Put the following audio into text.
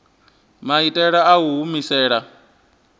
maitele a u i humisela